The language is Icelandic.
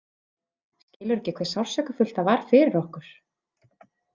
Skilur ekki hve sársaukafullt það var fyrir okkur.